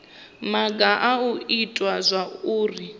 maga a u ita zwauri